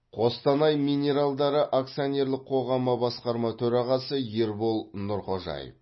қостанай минералдары акционерлік қоғамы басқарма төрағасы ербол нұрхожаев